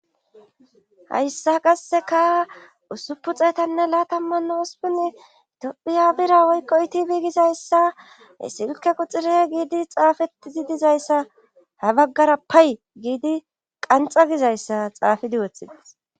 Hayssa qasseka usupu xeetanne laatammanna usupunni itophiya bira woykko itib gizayssa he silke quxire giidi xaafettizi dizayssa ha baggara pay giidi qanxa gizayssa xaafidi woththides